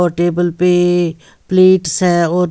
और टेबल पे a plates हैं और--